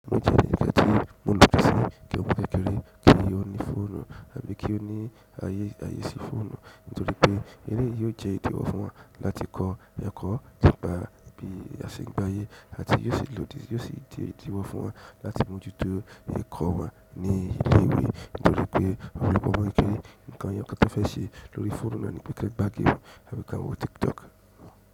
Mo jẹ́ ẹní kàn ti o nifẹsiì kí ọmọ kékeré ki ó ní fóònù àbí kí ó ní ààyè ààyè sí fóònù, nítorí pé èyí yìí yóò jẹ́ ìdíwọ́ fún wọn láti kọ ẹ̀kọ́ nígbá bíi àse gbé ayé àti yóò sì lòdì, yóò sì jẹ́ ìdíwọ́ fún wọn láti mójútó ẹ̀kọ́ wọn ní ilé ìwé. Nítorí pé ó lè wọ́n kéré nǹkan èyàn kan tí a fẹ́ ṣe lórí fóònù náà ni pé kí wọn gbá game, àbí kí wọn wo tiktok.